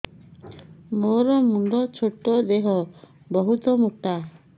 ମୋର ମୁଣ୍ଡ ଛୋଟ ଦେହ ବହୁତ ମୋଟା